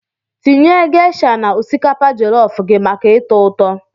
Tinye geisha na osikapa jollof gị maka ụtọ ụtọ